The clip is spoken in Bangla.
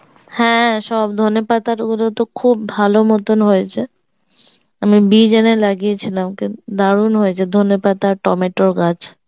হ্যাঁ সব ধনেপাতার ওগুলো তো খুব ভালো মতন হয়েছে আমি বিজ এনে লাগিয়েছিলাম দারুন হয়েছে ধনেপাতা আর টমেটোর গাছ